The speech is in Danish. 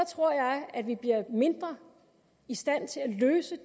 tror jeg vi bliver mindre i stand til at løse